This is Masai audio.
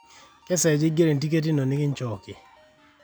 kesaaja eingero e ntiket ino nikinchooki